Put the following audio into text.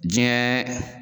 Diɲɛ